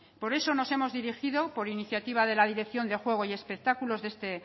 por eso nos hemos dirigido por iniciativa de la dirección de juego y espectáculos de este